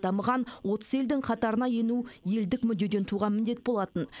дамыған отыз елдің қатарына ену елдік мүддеден туған міндет болатын